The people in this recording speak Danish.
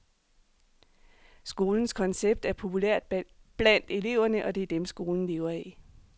Skolens koncept er populært blandt eleverne, og det er dem, skolen lever af.